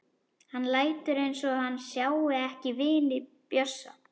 Hann lætur eins og hann sjái ekki vini Bjössa.